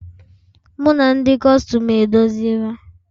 Mụ na ndị Kustum edozila